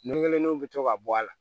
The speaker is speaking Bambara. Nɛnɛ kelen bi to ka bɔ a la